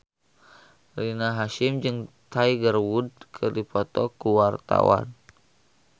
Rina Hasyim jeung Tiger Wood keur dipoto ku wartawan